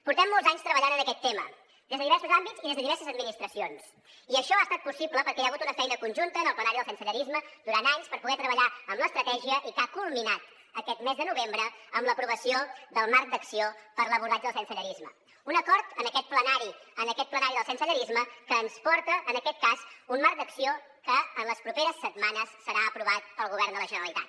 portem molts anys treballant en aquest tema des de diversos àmbits i des de diverses administracions i això ha estat possible perquè hi ha hagut una feina conjunta en el plenari del sensellarisme durant anys per poder treballar amb l’estratègia i que ha culminat aquest mes de novembre en l’aprovació del marc d’acció per a l’abordatge del sensellarisme un acord en aquest plenari del sensellarisme que ens porta en aquest cas un marc d’acció que en les properes setmanes serà aprovat pel govern de la generalitat